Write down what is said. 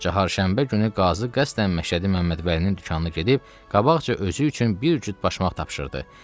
Cahargşənbə günü qazı qəsdən Məşədi Məmməd Vəlinin dükanına gedib qabaqca özü üçün bir cüt başmaq tapşırdı.